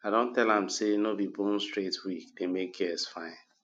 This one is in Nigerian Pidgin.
i don tell am sey no be bone straight wig dey make girls fine